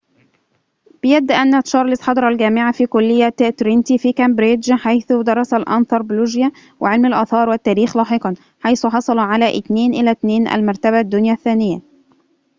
بيد أن تشارلز حضر الجامعة في كلية ترينتي في كامبردج حيث درس الأنتروبولوجيا و علم الآثار والتاريخ لاحقاً. حيث حصل على 2:2 المرتبة الدنيا الثانية